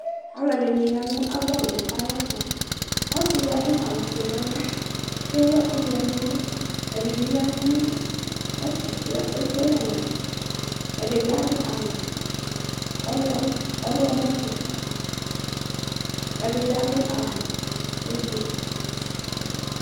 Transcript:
aloɛdini ya n'ava owu ayɛto ɔse di ado awu fue n'ava k'ewu ɛkò vɛ n'ɛlu ɛdi bi ya no ɛfɛ k'ekele ɛlu ɛdi bi ado awu ɔwlɔmɔ sò ɛdi bi ado awu ublɔ sò